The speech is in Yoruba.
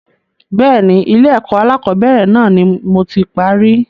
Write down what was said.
Bẹ́ẹ̀ni, Ilé ẹ̀kọ́ alakọ̀bẹ́ẹ́rẹ̀ náà ni moti parí.